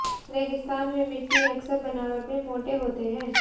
रेगिस्तान में मिट्टी अक्सर बनावट में मोटे होते हैं